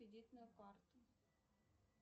кредитную карту